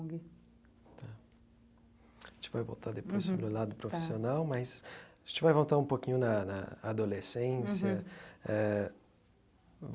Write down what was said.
Tá a gente vai voltar depois sobre o lado profissional, mas a gente vai voltar um pouquinho na na adolescência uhum eh.